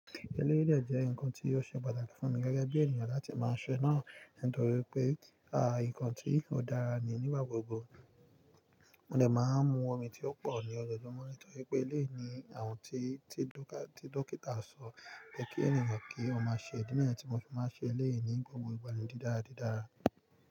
Ẹleyii de jẹ́ nǹkan tí ò ṣe pàtàkì fún mi gẹ́gẹ́ bí ènìyàn láti máa ṣe náà nítorí pé, nǹkan tí ó dára ni nígbà gbogbo. Mo de máa ń mu omi tí ó pọ̀ ní ọjoojumo nítorí pé eléyii ni àwọn tí, tí dókítà sọ pé kí ènìyàn kí ó má ṣe idi niyen tí mo fi máa ń ṣe eléyii ní gbogbo ìgbà ní dídára dídára.